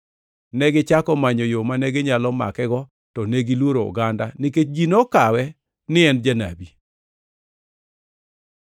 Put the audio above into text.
Negichako manyo yo mane ginyalo makego, to negiluoro oganda, nikech ji nokawe ni en janabi.